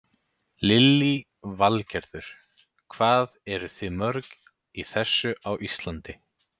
Lillý Valgerður: Hvað eruð þið mörg í þessu á Íslandi?